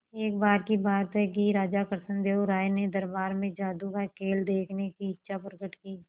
एक बार की बात है कि राजा कृष्णदेव राय ने दरबार में जादू का खेल देखने की इच्छा प्रकट की